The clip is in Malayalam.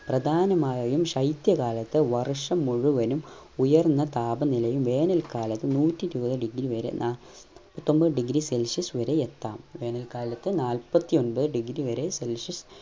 പ്രധാനമായും ശൈത്യ കാലത്തു വർഷം മുഴുവനും ഉയർന്ന താപ നിലയും വേനൽ കാലത്തു നൂറ്റി ഇരുവത് degree വരെ നാ പത്തൊൻപതു degree celsius വരെ എത്താം വേനൽകാലത്ത് നാല്പത്തി ഒൻപത് degree വരെ celsius